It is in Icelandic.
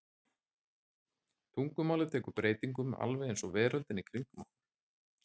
Tungumálið tekur breytingum alveg eins og veröldin í kringum okkur.